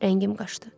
Rəngim qaçdı.